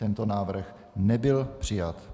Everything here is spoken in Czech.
Tento návrh nebyl přijat.